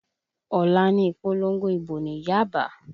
Ọ̀la ni ìpolongo ìbò ní Yaba